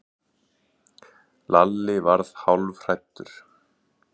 Lalli varð hálfhræddur.